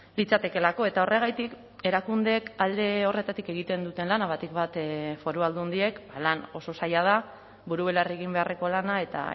litzatekeelako eta horregatik erakundeek alde horretatik egiten duten lana batik bat foru aldundiek lan oso zaila da buru belarri egin beharreko lana eta